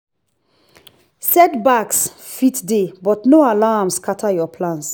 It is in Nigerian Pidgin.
setbacks fit dey but no allow am scatter your plans